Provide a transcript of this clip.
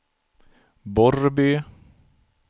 Borrby